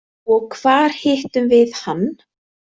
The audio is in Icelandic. Og hvar hittum við hann?